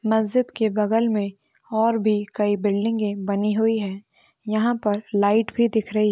मस्जिद के बगल मे और भी कई बिल्डिंगे बनी हुई है यहा पर लाईट भी दिख रही--